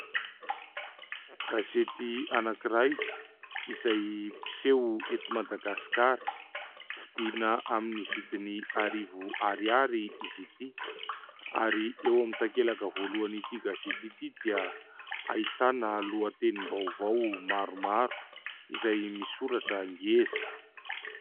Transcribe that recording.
Gazety anankiray izay mpiseho eto Madagasikara. Vidiana amin'ny vidiny arivo ariary izy ity. Ary eo amin'ny takelaka voalohan' ity gazety ity dia ahitana lohatenim-baovao maromaro izay misoratra ngeza.